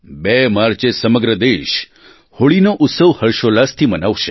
બે માર્ચે સમગ્ર દેશ હોળીનો ઉત્સવ હર્ષોલ્લાસથી મનાવશે